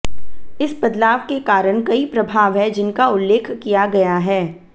इस बदलाव के कारण कई प्रभाव हैं जिनका उल्लेख किया गया है